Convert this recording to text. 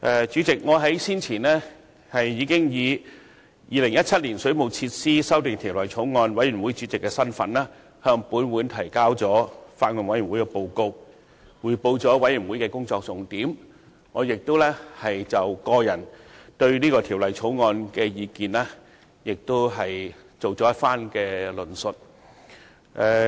主席，我先前已經以《2017年水務設施條例草案》委員會主席的身份，向本會提交法案委員會的報告，匯報法案委員會的工作重點，並已就我對《條例草案》的個人意見作出論述。